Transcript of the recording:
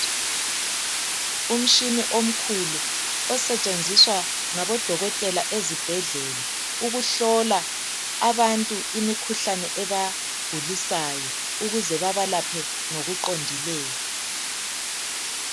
umtshini omkhulu osetshenziswa ngabodokotela ezibhedlela ukuhlola abantu imikhuhlane ebagulisayo ukuze babalaphe ngokuqondileyo